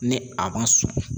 Ni a ma sɔn